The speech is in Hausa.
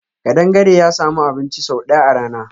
Kadangare ya sami abun ci sau daya a rana.